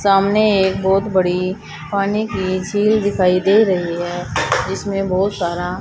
सामने एक बहुत बड़ी पानी की झील दिखाई दे रही है इसमें बहुत सारा--